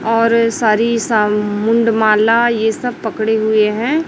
और सारी सा मुंड माला ये सब पकड़े हुए हैं।